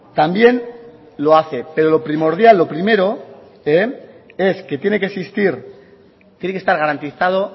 también lo hace pero lo primordial lo primero es que tiene que existir tiene que estar garantizado